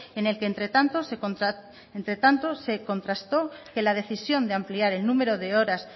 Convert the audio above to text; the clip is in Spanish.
en el que entre tanto se contrastó que la decisión de ampliar el número de horas